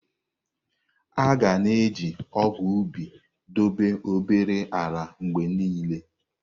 A ga na-eji ọgụ̀ ubi dobe obere ala mgbe niile.